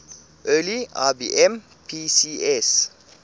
early ibm pcs